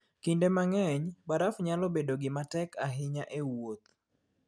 Kinde mang'eny, baraf nyalo bedo gima tek ahinya e wuoth.